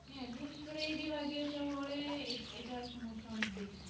বিশেষ করে এই বিভাগীয় শহরে এই এটার সমস্যা অনেক বেশি